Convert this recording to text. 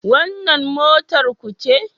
Wannan motar ku ce?